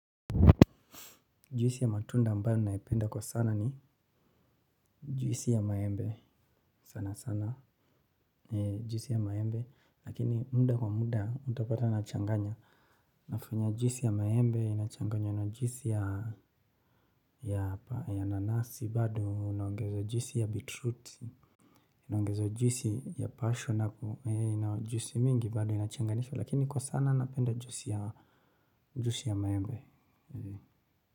Juisi ya matunda ambayo naipenda kwa sana ni juisi ya maembe sana sana. Juisi ya maembe lakini muda kwa muda utapata nachanganya. Nafanya juisi ya maembe inachanganywa na juisi ya nanasi bado naongezo juisi ya bitruti. Naongeza juisi ya passion hapo na juisi mingi bado inachanganishwa lakini kwa sana napenda juisi ya maembe.